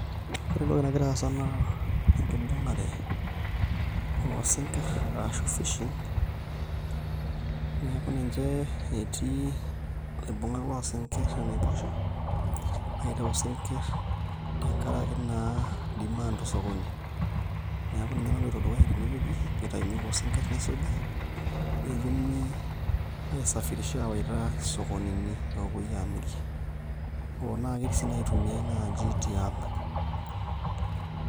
Ore entoki nagira aasa naa enkibung'are oosinkirr ashu fishing neeku ninye etii ilaibung'ak loosinkirr enaiposha aitayu isinkirr tenkaraki naa demand osokoni, neeku ninye naloito dukuya tenewueji pee itayuni kulo sinkirr nisuji netumi aisafirisha aawaita isokonini oopuoi aamirie hoo naa ketii sii inaitumiai tiang'.